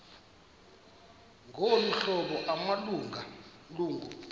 ngolu hlobo amalungu